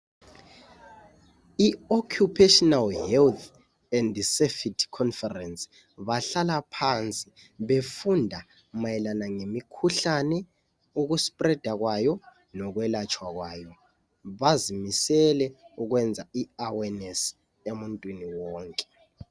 I- Occupational health leSafety Conference. Bahlala phansi befunda behlolisisa ngembangela yemikhuhlane etshiyeneyo, ukumemetheka kwayo. Lokuthi ingavikelwa njani. Bazimisele ukufinyelela uwonkewonke, ngalolulwazi. Ukuze uluntu lulamuleleke.